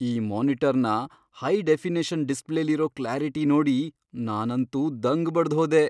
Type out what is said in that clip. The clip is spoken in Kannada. ಈ ಮಾನಿಟರ್ನ ಹೈ ಡೆಫಿನಿಷನ್ ಡಿಸ್ಪ್ಲೇಲಿರೋ ಕ್ಲ್ಯಾರಿಟಿ ನೋಡಿ ನಾನಂತೂ ದಂಗ್ ಬಡ್ದ್ಹೋದೆ.